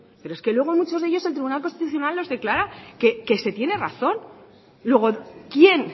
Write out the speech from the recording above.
pero es que luego muchos de ellos el tribunal constitucional los declara que se tiene razón luego quien